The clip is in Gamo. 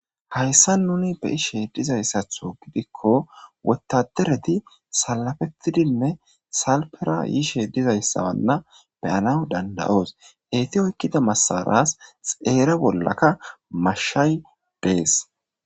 Hayssa nuni be ishe dizayssatho gidikko wotadereti salafettidinne salpera yiishe dizayssawanna beyana dandayoos heyti oykkida masaras xeere bollaka mashshay dees